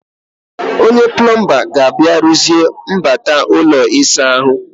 Onye pọmpụ ga-abịa rụziee mgbata ụlọ ịsa ahụ